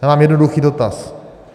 Já mám jednoduchý dotaz.